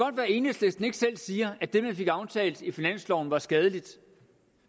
at enhedslisten ikke selv siger at det man fik aftalt i finansloven er skadeligt